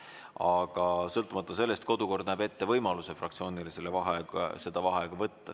Aga sõltumata sellest kodukord näeb ette võimaluse fraktsioonil seda vaheaega paluda.